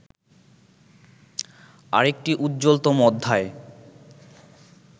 আরেকটি উজ্জ্বলতম অধ্যায়